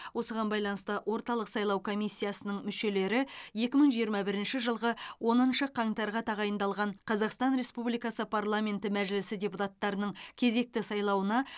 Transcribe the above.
осыған байланысты орталық сайлау комиссиясының мүшелері екі мың жиырма бірінші жылғы оныншы қаңтарға тағайындалған қазақстан республикасы парламенті мәжілісі депутаттарының кезекті сайлауына